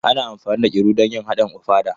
Ana amfani da Iru don yin haɗin ofada.